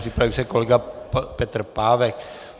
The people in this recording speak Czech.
Připraví se kolega Petr Pávek.